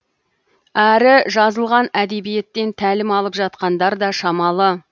әрі жазылған әдебиеттен тәлім алып жатқандар да шамалы